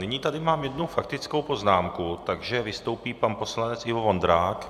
Nyní tady mám jednu faktickou poznámku, takže vystoupí pan poslanec Ivo Vondrák.